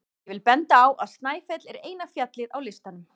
Ég vil benda á að Snæfell er eina fjallið á listanum.